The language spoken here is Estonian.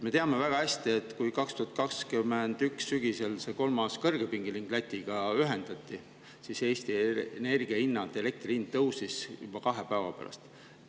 Me teame väga hästi, et kui 2021. aasta sügisel see kolmas kõrgepingeliin Lätiga ühendati, siis Eesti elektri hind tõusis juba kahe päeva pärast.